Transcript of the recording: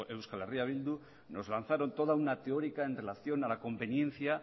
eh bildu nos lanzaron toda una teórica en relación a la conveniencia